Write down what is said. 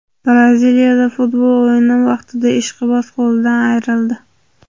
Braziliyada futbol o‘yini vaqtida ishqiboz qo‘lidan ayrildi.